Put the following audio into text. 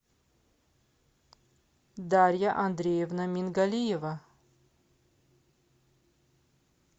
дарья андреевна мингалиева